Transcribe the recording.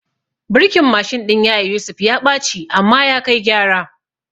Birkin Mashin ɗin yaya Yusuf ya ɓaci amma ya kai gyara